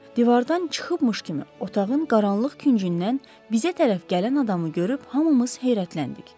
Divardan çıxıbmış kimi otağın qaranlıq küncündən bizə tərəf gələn adamı görüb hamımız heyrətləndik.